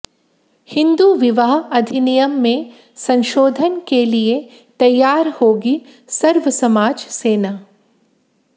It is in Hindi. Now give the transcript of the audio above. हिन्दू विवाह अधिनियम में संशोधन के लिए तैयार होगी सर्वसमाज सेना